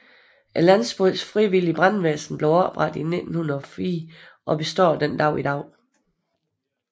Landsbyens frivillige brandværn blev oprettet i 1904 og består den dag i dag